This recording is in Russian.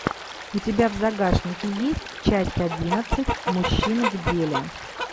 у тебя в загашнике есть часть одиннадцать мужчина в деле